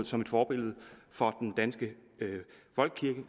som et forbillede for den danske folkekirke